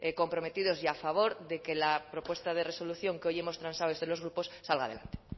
comprometidos y a favor de que la propuesta de resolución que hoy hemos transado desde los grupos salga adelante